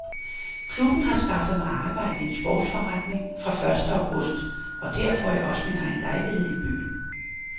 Klubben har skaffet mig arbejde i en sportsforretning fra første august og der får jeg også min egen lejlighed i byen.